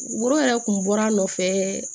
Woro yɛrɛ kun bɔra nɔfɛ